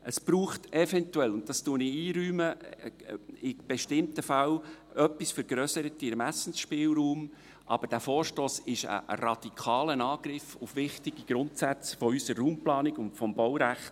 Es braucht eventuell – das räume ich ein – in bestimmten Fällen ein wenig vergrösserten Ermessensspielraum, aber dieser Vorstoss ist ein radikaler Angriff auf wichtige Grundsätze unserer Raumplanung und des Baurechts.